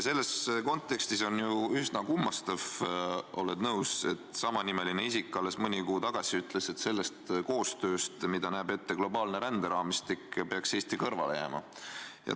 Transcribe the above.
Selles kontekstis on üsna kummastav – sa oled ilmselt nõus –, et samanimeline isik alles mõni kuu tagasi ütles, et sellest koostööst, mida näeb ette globaalne ränderaamistik, peaks Eesti kõrvale jääma.